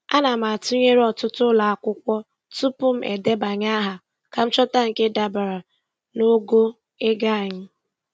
Ana m atụnyere ọtụtụ ụlọ akwụkwọ tupu m edebanye aha ka m chọta nke dabara n'ogo ego anyị.